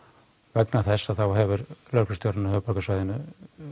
vegna þess að þá hefur lögreglustjórinn á höfuðborgarsvæðinu